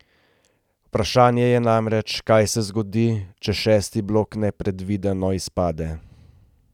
Vprašanje je namreč, kaj se zgodi, če šesti blok nepredvideno izpade.